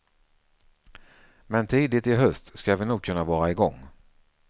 Men tidigt i höst ska vi nog kunna vara igång.